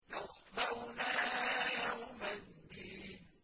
يَصْلَوْنَهَا يَوْمَ الدِّينِ